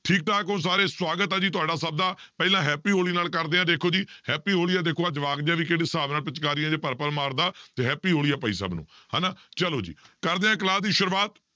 ਠੀਕ ਠਾਕ ਹੋ ਸਾਰੇ ਸਵਾਗਤ ਹੈ ਜੀ ਤੁਹਾਡਾ ਸਭ ਦਾ, ਪਹਿਲਾਂ happy ਹੋਲੀ ਨਾਲ ਕਰਦੇ ਹਾਂ ਦੇਖੋ ਜੀ happy ਹੋਲੀ ਆ, ਦੇਖੋ ਆਹ ਜਵਾਕ ਜਿਹਾ ਵੀ ਕਿਹੜੇ ਹਿਸਾਬ ਨਾਲ ਪਿਚਕਾਰੀਆਂ ਜਿਹੀਆਂ ਭਰ ਭਰ ਮਾਰਦਾ, ਤੇ happy ਹੋਲੀ ਹੈ ਭਾਈ ਸਭ ਨੂੰ ਹਨਾ, ਚਲੋ ਜੀ ਕਰਦੇ ਹਾਂ class ਦੀ ਸ਼ੁਰੂਆਤ